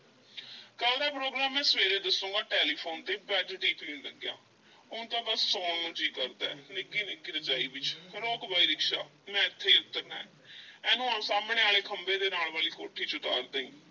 ਕੱਲ੍ਹ ਦਾ program ਮੈਂ ਸਵੇਰੇ ਦੱਸਾਂਗਾ ਟੈਲੀਫੂਨ ਉੱਤੇ bed tea ਪੀਣ ਲੱਗਿਆਂ, ਹੁਣ ਤਾਂ ਬੱਸ ਸੌਣ ਨੂੰ ਜੀਅ ਕਰਦਾ ਏ ਨਿੱਘੀ-ਨਿੱਘੀ ਰਜਾਈ ਵਿੱਚ, ਰੋਕ ਬਈ ਰਿਕਸ਼ਾ ਮੈਂ ਏਥੇ ਹੀ ਉੱਤਰਨਾ ਏ ਇਹਨਾਂ ਨੂੰ ਅਹੁ ਸਾਮ੍ਹਣੇ ਖੰਭੇ ਦੇ ਨਾਲ ਵਾਲੀ ਕੋਠੀ ਵਿੱਚ ਉਤਾਰ ਦੇਈਂ,